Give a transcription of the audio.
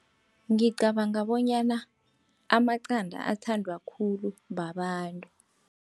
Ngicabanga bonyana amaqanda athandwa khulu babantu.